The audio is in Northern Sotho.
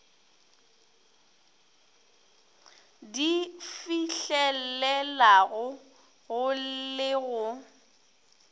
di fihlelelega go le go